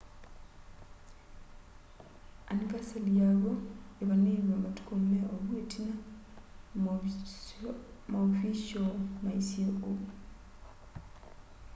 anivasali yaw'o îvanîîwe matuku me ovu itina maovishoo maisye ou